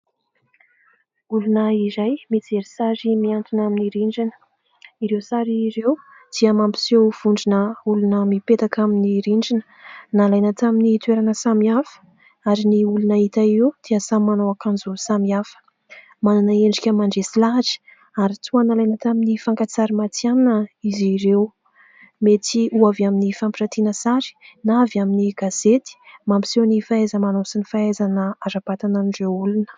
Olona iray mijery sary mihantona amin'ny rindrina. Ireo sary ireo dia mampiseho vondrona olona mipetaka amin'ny rindrina ; nalaina tamin'ny toerana samihafa ary ny olona hita io dia samy manao akanjo samihafa. Manana endrika mandresy lahatra ary toa nalaina tamin'ny fakantsary matihana izy ireo : mety ho avy amin'ny fampirantiana sary na avy amin'ny gazety. Mampiseho ny fahaiza-manao sy ny fahaizana ara-batana an'ireo olona.